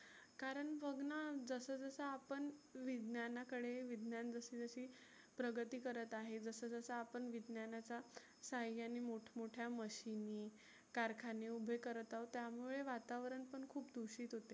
कारण बघना जसं जसं आपण विज्ञानाकडे विज्ञान जशी जशी प्रगती करत आहे. जस जस आपण विज्ञानाचा सहाय्याने मोठ मोठ्या machine कारखाने उभे करत आहोत. त्यामुळे वातावरण पण खुप दुषीत होते.